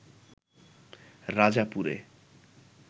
রাজাপুরে